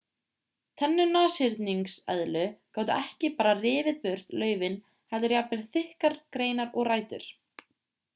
tennur nashyrningseðlu gátu ekki bara rifið burt laufin heldur jafnvel þykkar greinar og rætur